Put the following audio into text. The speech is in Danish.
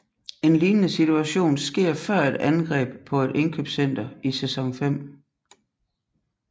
En lignende situation sker før et angreb på et indkøbscenter i Sæson 5